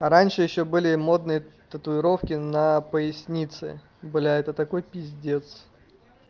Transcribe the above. раньше ещё были модные татуировки на пояснице бля это такой пиздец